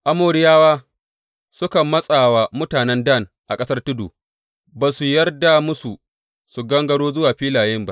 Amoriyawa suka matsa wa mutanen Dan a ƙasar tudu, ba su yarda musu su gangaro zuwa filaye ba.